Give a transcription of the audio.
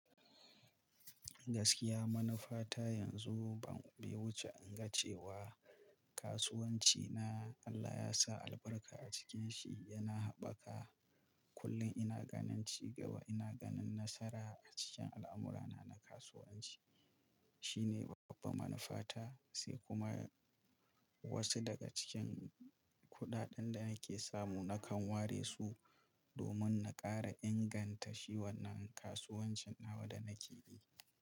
Gaskiya manufa ta yanzu ban, bai wuce in ga cewa. Kasuwanci na Allah ya sa albarka a cikin shi yana haɓaka. Kullum ina ganin cigaba, ina ganin nasara a cikin al'amura na na kasuwanci. Shine babban manufa ta, sai kuma. Wasu daga cikin kuɗaɗen da nake samu nakan ware su domin na ƙara inganta shi wannan kasuwancin nawa da nake yi.